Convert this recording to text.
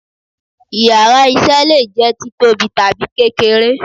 íyarà iṣẹ le je títóbí tabi kékeré